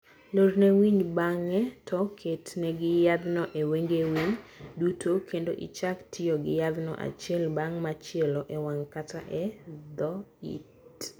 lorne winy bang`e to ket ne gi yadhno e wenge winy duto kendo ichak tiyo gi yadhno achiel bang ' machielo e wang' kata e dho it.